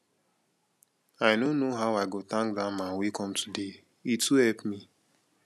i no know how i go thank dat man wey come today he too help me